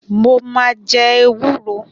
Mo ma jẹ ewúro